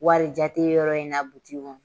Warijateyɔrɔ in na butigi kɔnɔ